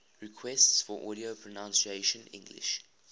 requests for audio pronunciation english